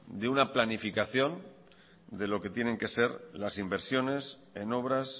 de una planificación de lo que tienen que ser las inversiones en obras